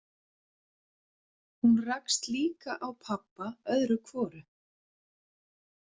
Hún rakst líka á pabba öðru hvoru.